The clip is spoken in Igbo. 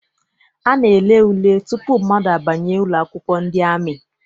A na-ele ule tutu mmadụ abanye ụlọakwụkwọ ndị amị.